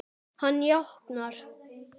Hann jánkar.